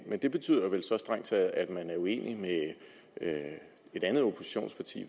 men det betyder vel så strengt taget at man er uenig med et andet oppositionsparti